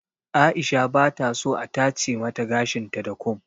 Aisha bata so a tace mata gashin ta da kum.